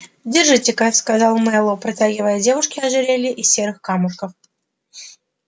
держите-ка сказал мэллоу протягивая девушке ожерелье из серых камушков